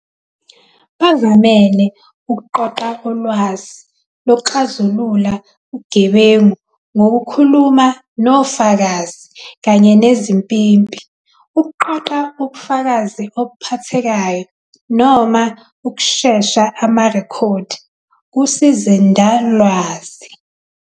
Bavamele ukuqoqa ulwazi lokuxazulula ubugebengu ngokukhuluma nofakazi kanye nezimpimpi, ukuqoqa ubufakazi obuphathekayo, noma ukusesha amarekhodi kusizindalwazi.